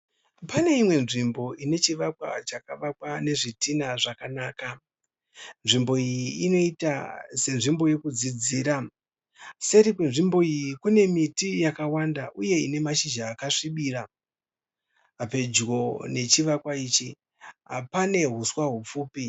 Paneimwe nzvimbo inechivakwa chakavakwa nezvitina zvakanaka. Nzvimbo iyi inoita senzvimbo yekudzidzira. Seri kwenzvimbo iyi kune miti yakawanda uye ine mashizha akasvibira. Pedyo nechivakwa pane huswa hupfupi.